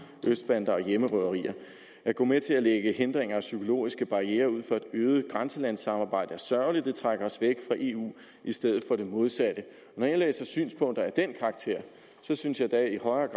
østbander og hjemmerøverier at gå med til at lægge hindringer og psykologiske barrierer ud for et øget grænselandssamarbejde er sørgeligt det trækker os væk fra eu i stedet for det modsatte når jeg læser synspunkter af den karakter synes jeg da i højere